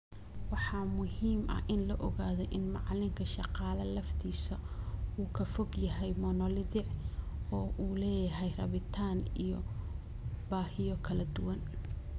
Waxaa muhiim ah in la ogaado in macalinka 'shaqaale' laftiisa uu ka fog yahay monolithic oo uu leeyahay rabitaan iyo baahiyo kala duwan.